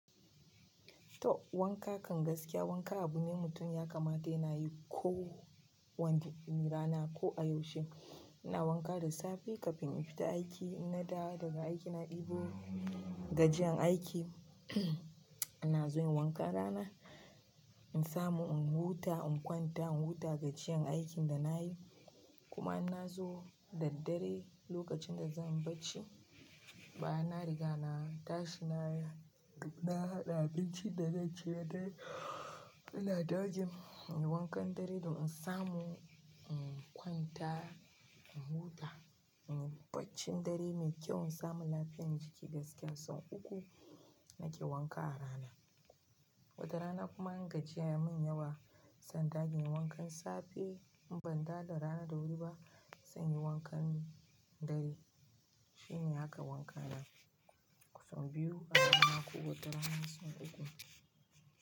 To wanka kan gaskiya wanka abu ne mutum ya kamata yana yi ko wanda rana ko a yaushe. Ina wanka da safe kafin in fita aiki in na dawo daga aiki na ɗebo gajiyan aiki ina zuwa inyi wankan rana in samu in huta in kwanta in huta gajiyan aiki da nayi kuma in na zo da dare lokacin da zan bacci, baya na riga na tashi na, na haɗa abincin da zai ciyar da, da ladaji. Ina wankan dare don in samu in kwanta, in huta, inyi barcin dare mai kyau in samu lafiyar jiki gaskiya. Son uku nake wanka a rana. Wata rana kuma in gajiyan ya min yawa, sanda din yi wankan safe in ban dawo da rana da wuri ba, zan yi wankan dare. Shine haka wanka na, kusan biyu a rana ko wata rana son uku.